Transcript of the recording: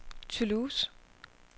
Toulouse